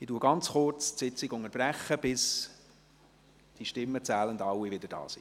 Ich unterbreche die Sitzung kurz, bis alle Stimmenzählenden wieder hier sind.